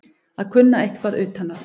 Að kunna eitthvað utan að